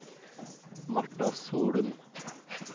Martha Solum